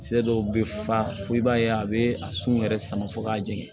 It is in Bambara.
Cɛ dɔw bɛ fa fo i b'a ye a bɛ a sun yɛrɛ sama fɔ k'a jeni